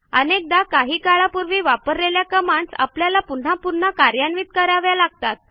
अनेकदा आपण काही काळापूर्वी वापरलेल्या कमांडस आपल्याला पुन्हा पुन्हा कार्यान्वित कराव्या लागतात